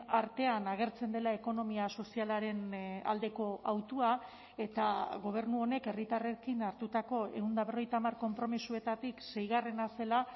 artean agertzen dela ekonomia sozialaren aldeko hautua eta gobernu honek herritarrekin hartutako ehun eta berrogeita hamar konpromisoetatik seigarrena zela